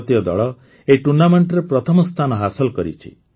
ଭାରତୀୟ ଦଳ ଏହି ଟୁର୍ଣ୍ଣାମେଣ୍ଟରେ ପ୍ରଥମ ସ୍ଥାନ ହାସଲ କରିଛି